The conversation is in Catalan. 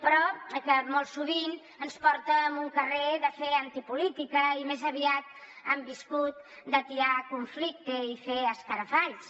però molt sovint ens porta a un carrer de fer antipolítica i més aviat han viscut d’atiar conflicte i fer escarafalls